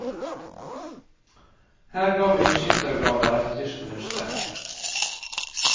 Her gravde vi skyttergraver etter tysk mønster.